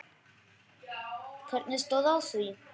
Hvernig stóð á því?